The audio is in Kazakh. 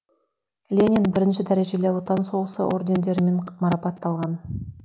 ленин бірінші дәрежелі отан соғысы ордендерімен марапатталған